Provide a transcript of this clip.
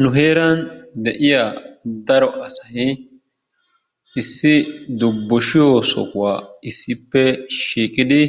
Nu heeran de'iyaa daro asay issi dubbushiyo sohuwaa issippe shiiqidi